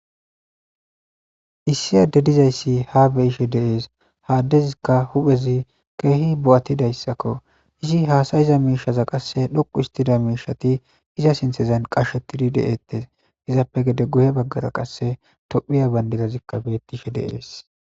issi adey de'izayssi ha be'ishe de'ees haa adezikka huphezi keehi bo7attidayssakko izi haasayiza miishaza qasse dhoqu istida miishati iza sinthezan qashetidi de7ettes izappe gede guhe baggara qasse tophiya bandidazikka bettishe de'ees